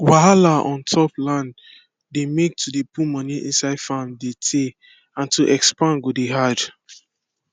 wahala ontop land dey make to dey put money inside farm de teyyy and to expand go dey hard